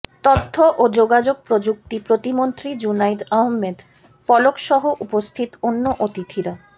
তথ্য ও যোগাযোগ প্রযুক্তি প্রতিমন্ত্রী জুনাইদ আহমেদ পলকসহ উপস্থিত অন্য অতিথিরা